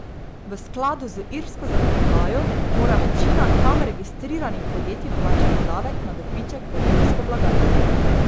V skladu z irsko zakonodajo mora večina tam registriranih podjetij plačati davek na dobiček v irsko blagajno.